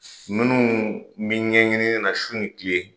Minnu bi ɲɛɲini na su ni tile.